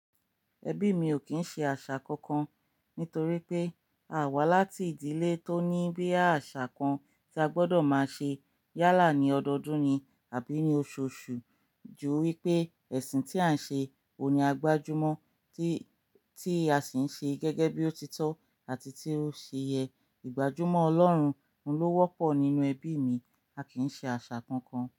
Ẹbí mi ò kí ń ṣe àṣà kankan nítorí pé a wá láti ìdílé tó ní bí àṣà kan tí a gbọdọ̀ máa ṣe yálà ní ọdọọdún ni àbí ní oṣooṣù ju wípé ẹ̀sìn tí à ń ṣe ò ní gbajúmọ̀ tí a sì ń ṣe gẹ́gẹ́ bí ó ti tọ́ àti tí ó ṣe yẹ. Ìgbájúmọ̀ Ọlọ́run ni o wọ́pọ̀ nínú ẹbí mi, a kì í ṣe àṣà kankan.